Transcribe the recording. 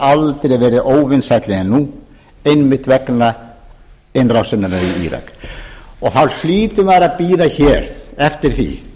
aldrei verið óvinsælli en nú einmitt vegna innrásarinnar í írak þá hlýtur maður að bíða hér eftir því